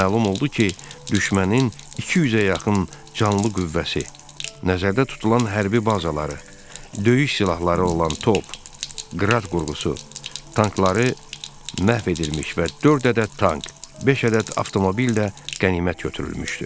Məlum oldu ki, düşmənin 200-ə yaxın canlı qüvvəsi, nəzərdə tutulan hərbi bazaları, döyüş silahları olan top, qrad qurğusu, tankları məhv edilmiş və dörd ədəd tank, beş ədəd avtomobil də qənimət götürülmüşdü.